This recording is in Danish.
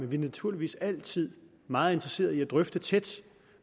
vi er naturligvis altid meget interesseret i tætte drøftelser